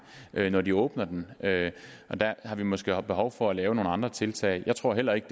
når de åbner den og der har vi måske behov for at lave nogle andre tiltag jeg tror heller ikke